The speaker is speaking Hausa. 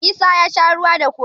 Isa ya sha ruwa da kofin.